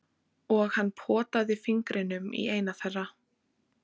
Og hann potaði fingrinum í eina þeirra.